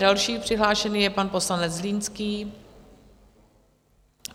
Další přihlášený je pan poslanec Zlínský.